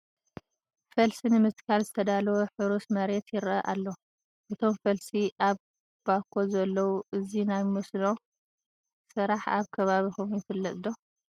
ፈልሲ ንምትካል ዝተዳለወ ሕሩስ መሬት ይርአ ኣሎ፡፡ እቶም ፈልሲ ኣብ ባኮ ኣለዉ፡፡ እዚ ናይ መስኖ ስራሕ ኣብ ከባቢኹም ይፍለጥ ዶ?